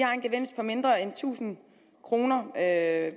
har en gevinst på mindre end tusind kroner ved at